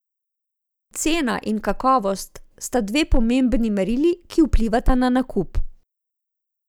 Cena in kakovost sta dve pomembni merili, ki vplivata na nakup.